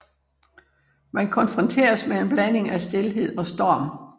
Man konfronteres med en blanding af stilhed og storm